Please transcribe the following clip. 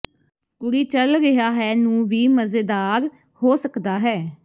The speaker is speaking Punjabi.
ਕੁੜੀ ਚੱਲ ਰਿਹਾ ਹੈ ਨੂੰ ਵੀ ਮਜ਼ੇਦਾਰ ਹੋ ਸਕਦਾ ਹੈ